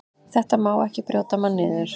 Þetta má ekki brjóta mann niður.